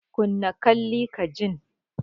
Kunna Kalli ka jin!